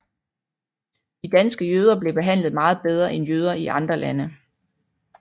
De danske jøder blev behandlet meget bedre end jøder i andre lande